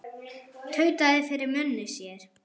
Tautaði fyrir munni sér.